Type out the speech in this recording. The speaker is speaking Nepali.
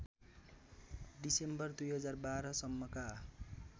डिसेम्बर २०१२ सम्मका